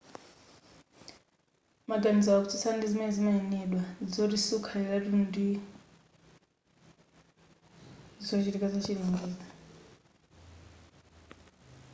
maganizowa akutsutsana ndi zimene zimanenedwa zoti mwezi sukhaliratu ndizochitika zachilengedwe